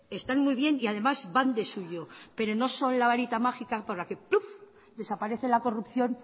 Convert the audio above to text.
están muy bien y además van de suyo pero no son la varita mágica por la que pluf desaparece la corrupción